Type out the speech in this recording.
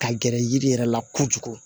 Ka gɛrɛ yiri yɛrɛ la kojugu